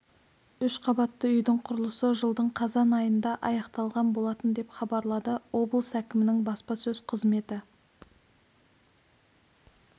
үш қабатты үйдің құрылысы жылдың қазан айында аяқталған болатын деп хабарлады облыс әкімінің баспасөз қызметі